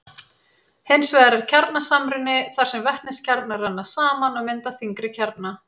hins vegar er kjarnasamruni þar sem vetniskjarnar renna saman og mynda þyngri kjarna